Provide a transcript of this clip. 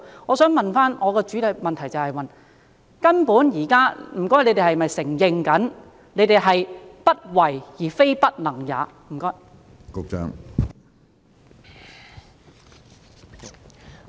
我想提出的補充質詢是，究竟當局現在是否承認，只是"不為"，而非"不能"也？